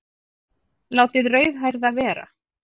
Látið rauðhærða vera